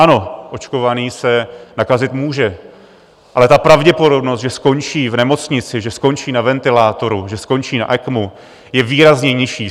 Ano, očkovaný se nakazit může, ale ta pravděpodobnost, že skončí v nemocnici, že skončí na ventilátoru, že skončí na ECMO, je výrazně nižší.